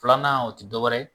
Filanan o tɛ dɔwɛrɛ ye